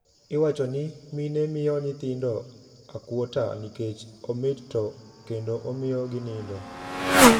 Iwachoni mine miyo nyithindo akwota nikech omit to kendo omiyo ginindo.